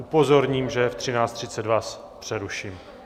Upozorním, že v 13.30 vás přeruším.